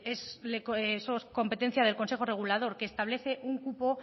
es competencia del consejo regulador que establece un cupo